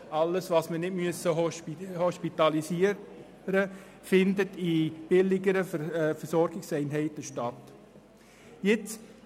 Alles, was nicht hospitalisiert werden muss, findet in billigeren Versorgungseinheiten statt.